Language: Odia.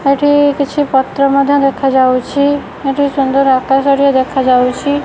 ଏଇଠି କିଛି ପତ୍ର ମଧ୍ୟ ଦେଖା ଯାଉଛି ଏଠି ସୁନ୍ଦର୍ ଆକାଶ ଟିଏ ଦେଖା ଯାଉଛି।